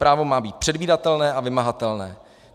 Právo má být předvídatelné a vymahatelné.